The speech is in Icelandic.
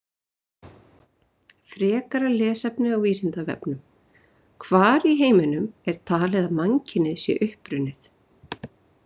Frekara lesefni á Vísindavefnum: Hvar í heiminum er talið að mannkynið sé upprunnið?